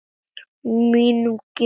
Mínum gildum.